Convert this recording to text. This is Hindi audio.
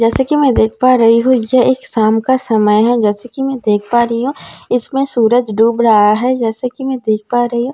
जैसे कि में देख पा रही हूँ यह एक शाम का समय है जैसे कि में देख पा रही हूँ इसमें सूरज डुब रहा है जैसे कि में देख पा रही हूँ।